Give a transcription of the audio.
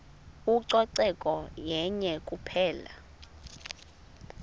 ucoceko yenye kuphela